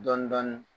Dɔɔnin dɔɔnin